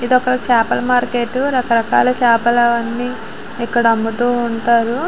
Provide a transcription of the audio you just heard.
ఇదొక చేపల మార్కెటు . రకరకాల చేపలు అవన్నీ ఇక్కడ అమ్ముతూ ఉంటారు.